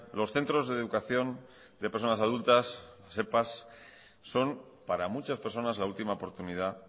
los centros de educación de personas adultas epa son para muchas personas la última oportunidad